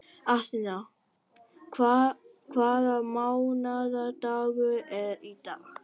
Atena, hvaða mánaðardagur er í dag?